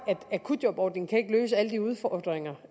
at akutjobordningen ikke kan løse alle de udfordringer